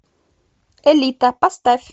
элита поставь